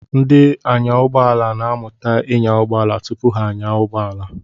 Ndị anyàụgbọala na-amụta ịnya ụgbọala tupu ha anyaa ụgbọala.